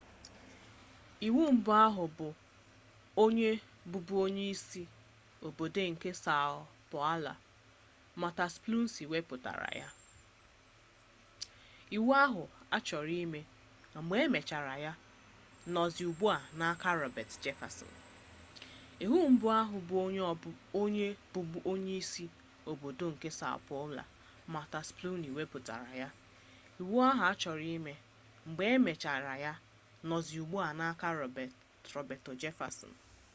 iwu mbụ ahụ bụ onye bụbu onyeisi obodo nke são paulo marta suplicy wepụtara ya. iwu ahụ achọrọ ime mgbe e mezichara ya nọzi ugbu a n’aka roberto jefferson